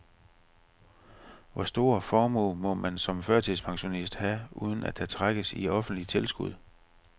Hvor stor formue må man som førtidspensionist have, uden at der trækkes i offentlige tilskud?